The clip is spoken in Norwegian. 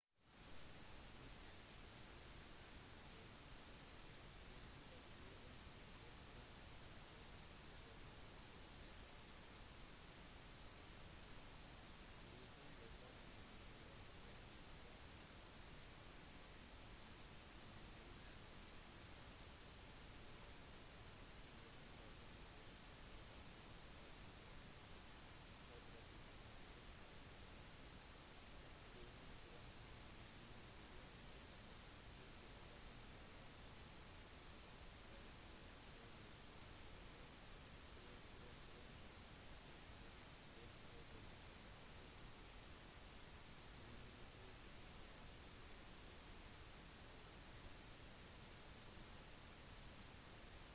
tyrkias område er på 783,562 km² 300,948 mi² inkludert innsjøer hvorav 755,688 km² 291,773 mi² er i sørvest-asia og 23,764 km² 9.174 mi² i europa